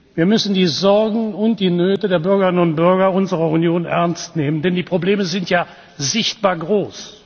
Wir müssen die Sorgen und die Nöte der Bürgerinnen und Bürger unserer Union ernst nehmen, denn die Probleme sind ja sichtbar groß.